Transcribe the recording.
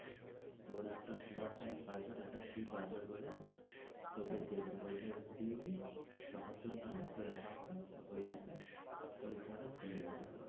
তা ওরা একটা one time password তা কি password বলে তোকে দেবে ঐটা দিবি তখন তোর নাম ওই app এ ওই ফোন খুলে যাবে.